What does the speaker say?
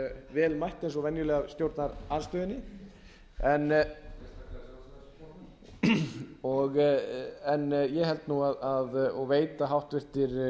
vel mætt eins og venjulega af stjórnarandstöðunni en ég held nú og veit að háttvirtur